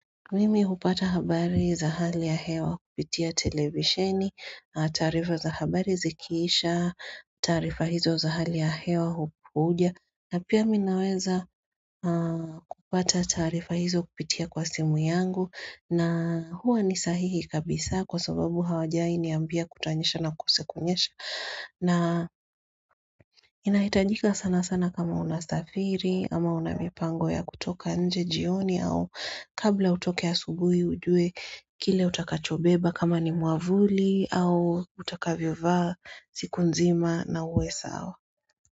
Mimi hupata habari za hali ya hewa kupitia televisheni, taarifa za habari zikiisha, taarifa hizo za hali ya hewa hupuja. Na pia mi naweza kupata taarifa hizo kupitia kwa simu yangu na huwa ni sahihi kabisa kwa sababu hawajai niambia kutanyesha na kukosekunyesha. Na inahitajika sana sana kama unasafiri ama una mipango ya kutoka nje jioni au kabla utoke asubuhi ujue kile utakachobeba kama ni mwavuli au utakavyovaa siku nzima na uwe sawa.